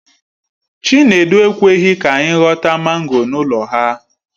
Chinedu ekweghi ka anyi ghọta mango n'ụlọ ha.